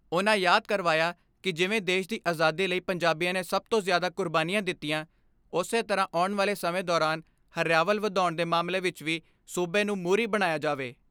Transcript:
ਉਨ੍ਹਾਂ ਯਾਦ ਕਰਵਾਇਆ ਕਿ ਜਿਵੇਂ ਦੇਸ਼ ਦੀ ਅਜਾਦੀ ਲਈ ਪੰਜਾਬੀਆਂ ਨੇ ਸਭ ਤੋਂ ਜਿਆਦਾ ਕੁਰਬਾਨੀਆਂ ਦਿੱਤੀਆਂ ਉਸੇ ਤਰ੍ਹਾਂ ਆਉਣ ਵਾਲੇ ਸਮੇਂ ਦੌਰਾਨ ਹਰਿਆਵਲ ਵਧਾਉਣ ਦੇ ਮਾਮਲੇ ਵਿੱਚ ਵੀ ਸੂਬੇ ਨੂੰ ਮੁਹਰੀ ਬਣਾਇਆ ਜਾਵੇ।